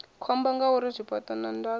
khombo ngauri zwifhaṱo na ndaka